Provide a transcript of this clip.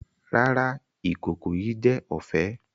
Rara, ikoko yii jẹ ọfẹ.